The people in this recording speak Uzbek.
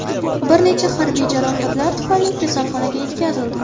Bir necha harbiy jarohatlar tufayli kasalxonaga yetkazildi.